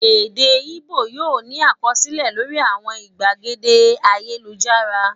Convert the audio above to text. Èdè Ìgbò yóò ní àkọsílẹ̀ lórí àwọn ìgbàgede ayélujára.